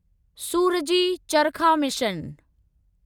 सूरजी चरखा मिशन